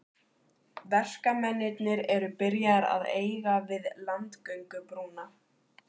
Verkamennirnir eru byrjaðir að eiga við landgöngubrúna.